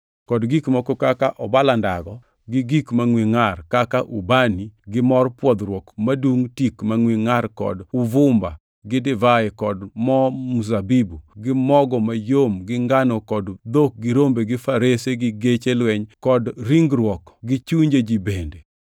kod gik moko kaka obala ndago gi gik mangʼwe ngʼar; kaka ubani gi mor pwodhruok madungʼ tik mangʼwe ngʼar kod uvumba gi divai kod mo mzabibu gi mogo mayom gi ngano kod dhok gi rombe gi farese gi geche lweny kod ringruok gi chunje ji bende.